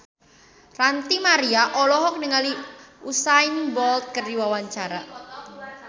Ranty Maria olohok ningali Usain Bolt keur diwawancara